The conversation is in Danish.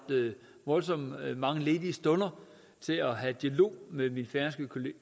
voldsomt mange ledige stunder til at have en dialog med min færøske